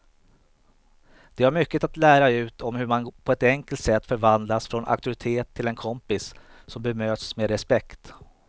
De har mycket att lära ut om hur man på ett enkelt sätt förvandlas från auktoritet till en kompis som bemöts med respekt.